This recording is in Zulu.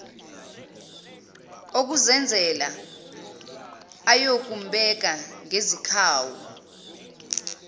okuzenzela ayobumbeka ngezikhawu